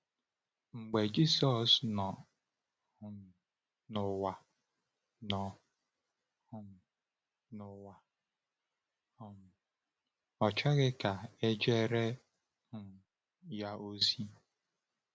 Mgbe Jisọs nọ um n’ụwa, nọ um n’ụwa, um ọ chọghị ka e jeere um ya ozi.